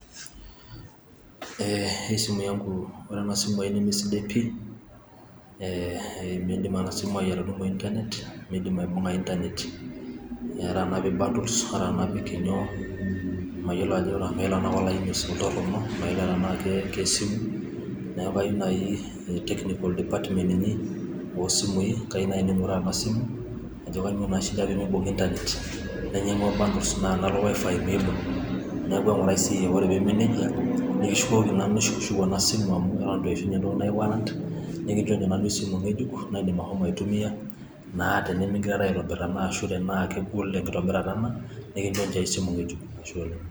Eee hii simu yangu, ore enesimu ai nemesidai pi meidim ena simu ai atudumu [c]internet, meidim aibung,a internet ata tenapik csbundles ata tenapi inyoo mayiolo tenaa olaini oltorono, mayiolo tenaa kesimu, neaku kayieu naaji technical department inyi oo simui kayie naaji neinguraa ena simu, ajo kainyoo naa shida peyie meibung' internetcs] nainyang'ua bundles naa tenalo wifi meibung' neaku eng'urai siiyie naa teneme neija niki shukokiki nanu enasimu amu itu eishunye inatoki naji warrant nikinjosho esimu ng'ejuk naidim ashomo aitumia naa tenimig'irara naa aitobir anaa kegol enkitobirra nikinchosho esimu ng'ejuk.